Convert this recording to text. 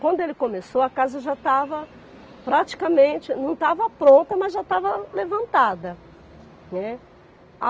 Quando ele começou, a casa já estava praticamente... não estava pronta, mas já estava levantada, né.